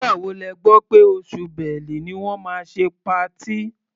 Nígbà wo lẹ gbọ́ pé oṣù Bẹ́lu ni wọ́n máa ṣe patí?